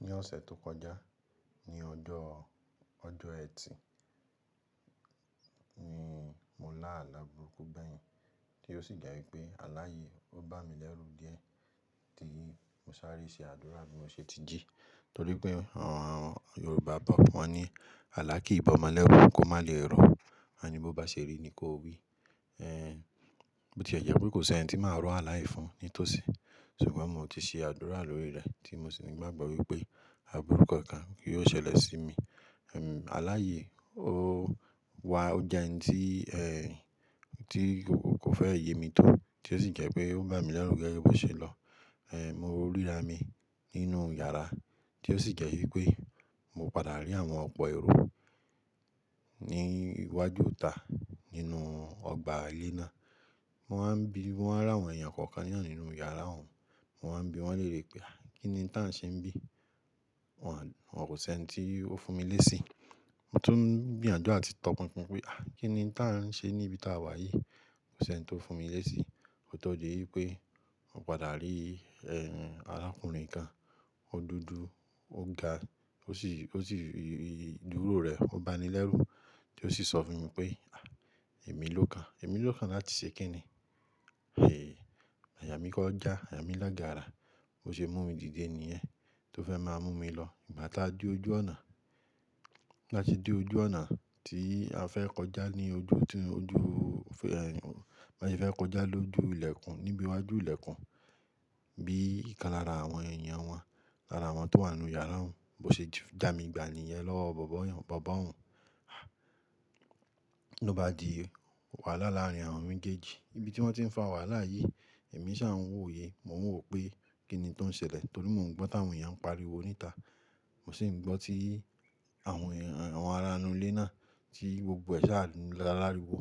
Ní ọ̀sẹ̀ tó kọjá, ní ọjọ́ Ẹtì ni mo lá àlá burúkú bẹ́yìn, tí ó sì jẹ́ pé àlàyí ó bá mi lẹ́rù díẹ̀ tí mo sáré ṣe àdúrà bí mo ṣe ti jí. Nítorí pé àwọn Yorùbá bọ̀ wọ́n ní “Àlà kii bọmọ lẹ́rù, kó má lè rọ̀.” Wọ́n á ni bó bá ṣe rí ni kó wí. Ẹ̀n, bó ti ẹ jẹ́ pé kò sí ẹniti máa rọ́ àlàyé fún ní tó sì. Ṣùgbọ́n mo ti ṣe àdúrà lórí rẹ̀ tí mo sì ní ìgbàgbọ́ wípé àbúrúkọ kan yóò ṣẹlẹ̀ sí mi. Ehn, àlàyí ó wá ó jẹ́ ẹni tí, ẹ́, tí kò fẹ́ yé mi tó, tí ó sì jẹ́ pé ó bá mi lẹ́rù gẹ́gẹ́ bí ó ṣe lọ. Ehn, mo ríra mi nínú yàrá tí ó sì jẹ́ wípé mo padà rí àwọn ọ̀pọ̀ èrò ní iwájú ìta nínú ọgbà ilé náà. Wọ́n á ń bi, wọ́n ràwọn èèyàn kọ̀ọ̀kan nìkan nínú yàrá wọn. Mo wá ń bi wọn lérè pé “à, kí ni táa ń ṣe ń bí?” Wọn kò sí ẹni tí ó fún mi léèsì. Mo tún ń gbìyànjú àti tọ pínpín pé "à, kí ni táa ń ṣe ní ibi táa wà yìí?" Kò sí ẹni tó fún mi léèsì. Kó tó dí wípé mo padà rí, ẹ́, arákùnrin kan. Ó dúdú, ó ga, ó sì, ó sì dúró rẹ̀, ó bá mi lẹ́rù tí ó sì sọ fún mi pé “à, èmi ló kan. Èmi ló kan láti ṣe kíni.” Àyà mí kó já, àyà mí lọ gààrà. Mo ṣe mú un dìde nìyẹn tí ó fẹ́ máa mú mi lọ. Ìgbà tí a dé ojú ọ̀nà, Bí á ṣe dé ojú ọ̀nà, tí a fẹ́ kọjá ní ojú, ojú, ẹ́, bá ti fẹ́ kọjá lójú ìlẹ̀kùn, níbi iwájú ìlẹ̀kùn bí ìkan lára àwọn èèyàn wọn, lára àwọn tí ó wà nínú yàrá wọn. Mo ṣe jà mi gbani yẹn lọ́wọ́ bàbá wọn. Ah! Ó bá di wàhálà láàrin àwọn méjèèjì. Ibi tí wọ́n tí ń fa wàhálà yìí, èmi sá wò yẹ Mo ń wò pé kí ni tó ń ṣẹlẹ̀ torí mo ò gbọ́ táwọn èèyàn ń pariwo níta. Mo sì ń gbọ́ tí àwọn aránú ilé náà tí gbogbo ẹ̀ṣà láàlá ri wò.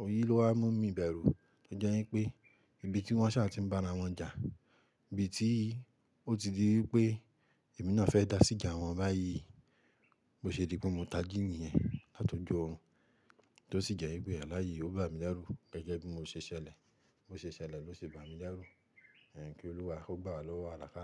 Oyé ló wá mú mi bẹ̀rù. Ó jẹ́ wípé ibi tí wọ́n ṣà ti ń bá ara wọn jà, ibi tí ó ti di wípé èmi náà fẹ́ dá síjà wọn báyìí. Mo ṣe di pé mo tají nìyẹn látojú orun Tó sì jẹ́ wípé àlàyé ó bá mi lẹ́rù gẹ́gẹ́ bí mo ṣe ṣẹlẹ̀. Mo ṣe ṣẹlẹ̀ ló ṣe bá mi lẹ́rù. Ẹ̀h, kí Olúwa ó gbà wá lọ́wọ́ àlàká.